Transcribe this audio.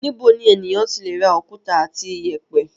Níbo ni ènìyàn ti le ra òkúta àti ìyẹ̀pẹ̀?